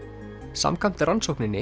samkvæmt rannsókninni